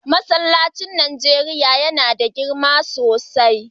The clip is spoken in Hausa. Masllacin ƙasa na Nijeriya yana da girma sosai.